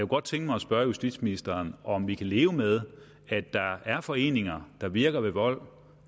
godt tænke mig at spørge justitsministeren om vi kan leve med at der er foreninger der virker ved vold